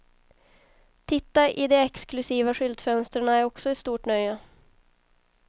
Titta i de exklusiva skyltfönsterna är också ett stort nöje.